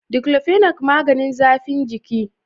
"Diclofenac" maganin zafin giki.